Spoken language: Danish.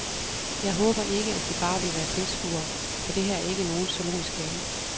Jeg håber ikke, at de bare vil være tilskuere, for det her er ikke nogen zoologisk have.